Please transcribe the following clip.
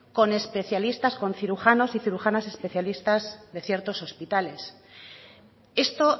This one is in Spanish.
con especialistas con cirujanos y cirujanas de ciertos hospitales esto